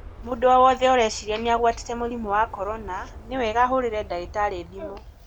Mũndũ o-wothe ũreciria nĩaguatĩte mũrimũ wa Korona nĩwega ahũrĩre ndagitari thimũ.